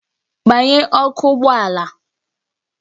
Gbanye ọkụ ụgbọ ala!